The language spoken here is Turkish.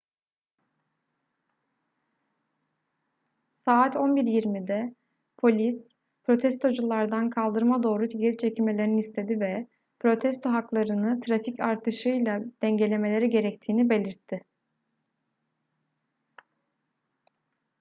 saat 11:20'de polis protestoculardan kaldırıma doğru geri çekilmelerini istedi ve protesto haklarını trafik artışıyla dengelemeleri gerektiğini belirtti